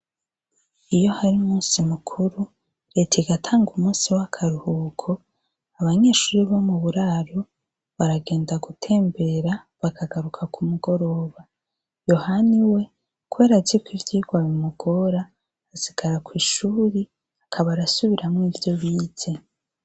Iyo hari umunsi mukuru reta igatanga umunsi wakaruhuko abanyeshure bomuburaro baragenda gutembera bakagaruka kumugoroba yohani we kubera aziko ivyirwa bimugira asigara kwishure akaba arasubiramwo ivyo bize